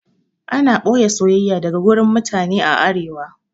Ana ɓoye soyayya daga wurin mutane a arewa